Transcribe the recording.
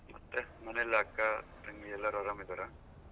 ಮತ್ತೆ ಮನೆಯಲ್ಲಿ ಅಕ್ಕ ತಂಗಿ ಎಲ್ಲರೂ ಆರಾಮ್ ಇದಾರ?